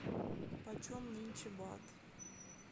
по чем нынче бат